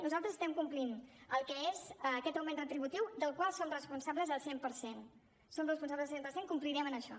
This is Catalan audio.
nosaltres estem complint el que és aquest augment retributiu del qual som responsables al cent per cent en som responsables al cent per cent i complirem en això